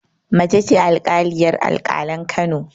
Mace ce alƙaliyar alƙalan Kano